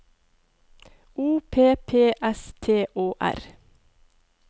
O P P S T Å R